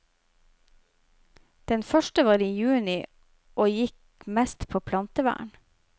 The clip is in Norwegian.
Den første var i juni og gikk mest på plantevern.